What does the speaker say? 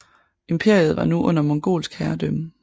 Imperiet var nu under mongolsk herredømme